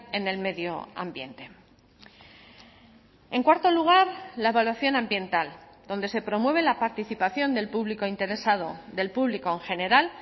en el medio ambiente en cuarto lugar la evaluación ambiental donde se promueve la participación del público interesado del público en general